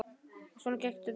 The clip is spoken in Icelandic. Og svona gekk þetta.